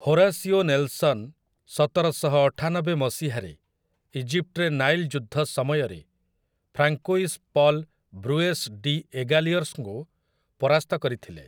Horacio Nelson ସତରଶହ ଅଠାନବେ ମସିହାରେ ଇଜିପ୍ଟରେ ନାଇଲ୍ ଯୁଦ୍ଧ ସମୟରେ ଫ୍ରାଙ୍କୋଇସ୍ ପଲ୍ ବ୍ରୁୟେସ୍ ଡି'ଏଗାଲିୟର୍ସଙ୍କୁ ପରାସ୍ତ କରିଥିଲେ ।